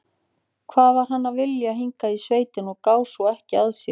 Hvað var hann að vilja hingað í sveitina og gá svo ekki að sér?